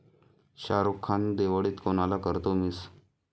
शाहरुख खान दिवाळीत कुणाला करतोय मिस?